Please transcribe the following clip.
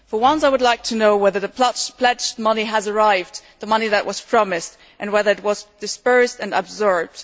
Firstly, I would like to know whether the pledged money has arrived the money that was promised and whether it was disbursed and absorbed.